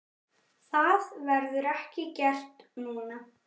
Það verður ekki gert núna.